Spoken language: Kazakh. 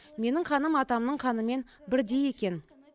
менің қаным атамның қанымен бірдей екен